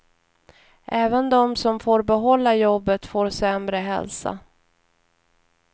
Även de som får behålla jobbet får sämre hälsa.